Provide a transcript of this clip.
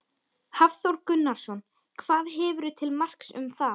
Hafþór Gunnarsson: Hvað hefurðu til marks um það?